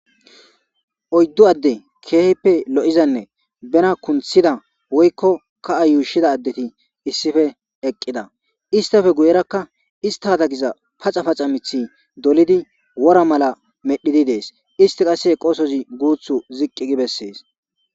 oyddu adde keehippe lo7izanne bena kunthida woykko ka7a yuushida addeti issife eqqida istafe guyerakka ista katagiza paxa paxa mithi dolidi wora mala medhidi dees isti qasse qoosozi guuthu ziqqi gi bessees